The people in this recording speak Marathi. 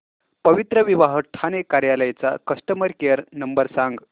पवित्रविवाह ठाणे कार्यालय चा कस्टमर केअर नंबर सांग